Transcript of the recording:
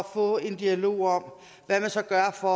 få en dialog om hvad man så gør for